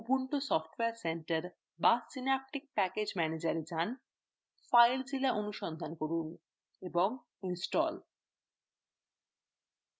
ubuntu software centre go synaptic package manager এ যান filezilla অনুসন্ধান করুন